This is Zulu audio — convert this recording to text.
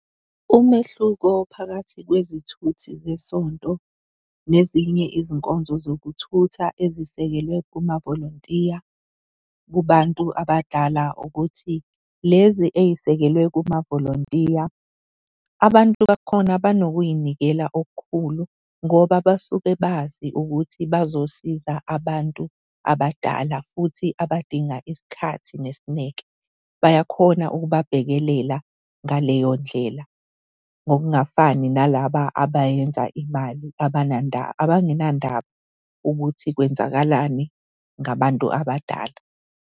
Umehluko phakathi kwezithuthi zesonto nezinye izinkonzo zokuthutha ezisekelwe kumavolontiya kubantu abadala ukuthi lezi ey'sekelwe kumavolontiya, abantu bakhona banokuy'nikela okukhulu ngoba basuke bazi ukuthi bazosiza abantu abadala futhi abadinga isikhathi nesineke bayakhona ukubabhekelela ngaleyo ndlela. Ngokungafani nalaba abayenza imali abangenandaba ukuthi kwenzakalani ngabantu abadala.